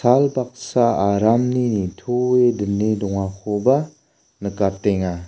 baksa aramni nitoe dine dongakoba nikatenga.